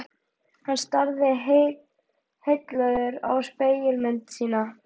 Hann starði heillaður á spegilmynd sína.